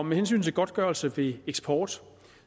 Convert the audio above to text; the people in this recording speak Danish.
med hensyn til godtgørelse ved eksport